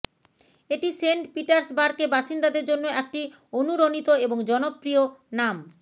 এটি সেন্ট পিটার্সবার্গে বাসিন্দাদের জন্য একটি অনুরণিত এবং জনপ্রিয় নাম